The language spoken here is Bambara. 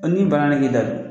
ni bana b'i la d